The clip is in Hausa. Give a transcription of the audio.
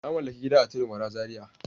Na mallaki gida a Tudun wada Zaria.